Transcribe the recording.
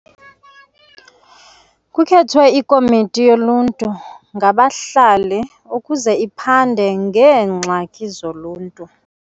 Kukhethwe ikomiti yoluntu ngabahlali ukuze iphande ngeengxaki zoluntu.